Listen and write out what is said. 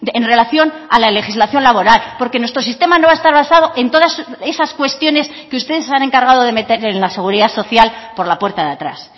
en relación a la legislación laboral porque nuestro sistema no va a estar basado en todas esas cuestiones que ustedes se han encargado de meter en la seguridad social por la puerta de atrás